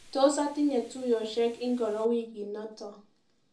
Tos atinye tuiyeshek ingoro wikinito?